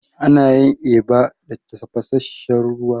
Ana yin eba da tafasasshen ruwa.